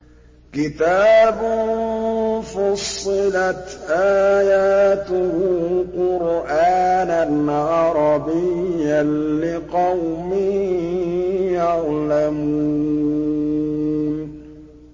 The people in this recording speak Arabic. كِتَابٌ فُصِّلَتْ آيَاتُهُ قُرْآنًا عَرَبِيًّا لِّقَوْمٍ يَعْلَمُونَ